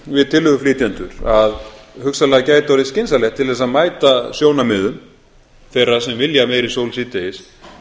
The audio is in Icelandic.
við tillöguflytjendur að hugsanlega gæti orðið skynsamlegt til þess að mæta sjónarmiðum þeirra sem vilja meiri sól síðdegis